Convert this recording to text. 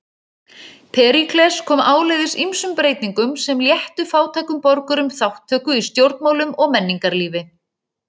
Períkles kom áleiðis ýmsum breytingum sem léttu fátækum borgurum þátttöku í stjórnmálum og menningarlífi.